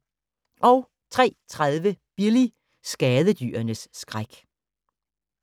03:30: Billy – skadedyrenes skræk